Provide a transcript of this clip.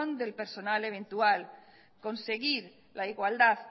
del personal eventual conseguir la igualdad